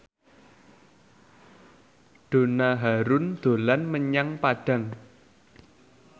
Donna Harun dolan menyang Padang